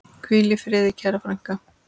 Hvíl í friði, kæra frænka.